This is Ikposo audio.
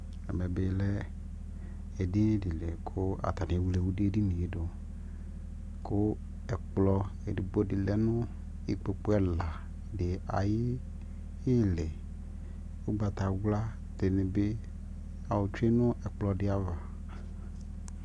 ɛmɛ bilɛ ɛdinidi kʋ atani ɛwlɛ ɛdiniɛ dʋ kʋɛkplɔ ɛdigbɔ di lɛnʋ ikpɔkʋ ɛladi ayi ili, ɔgbatawla dini bi ɔtwɛ nʋ ɛkplɔ di aɣa